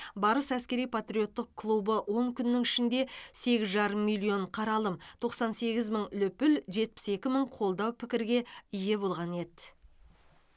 барыс әскери патриоттық клубы он күннің ішінде сегіз жарым миллион қаралым тоқсан сегіз мың лүпіл жетпіс екі мың қолдау пікірге ие болған еді